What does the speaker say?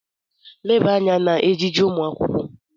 Leba anya n'ejiji ụmụ akwụkwọ!